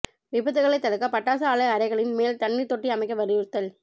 விபத்துகளைத் தடுக்க பட்டாசு ஆலை அறைகளின் மேல் தண்ணீர் தொட்டி அமைக்க வலியுறுத்தல்